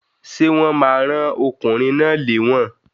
Sé wón ma rán okùnrin náà léwòn